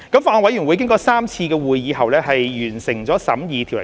法案委員會經過3次會議後完成審議《條例草案》。